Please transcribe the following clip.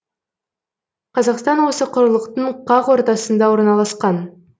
қазақстан осы құрлықтың қақ ортасында орналасқан